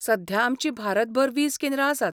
सध्या आमचीं भारतभर वीस केंद्रां आसात.